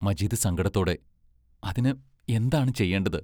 മജീദ് സങ്കടത്തോടെ അതിന് എന്താണ് ചെയ്യേണ്ടത്?